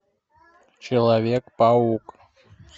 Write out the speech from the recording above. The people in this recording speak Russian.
человек паук